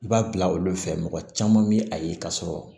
I b'a bila olu fɛ mɔgɔ caman bɛ a ye ka sɔrɔ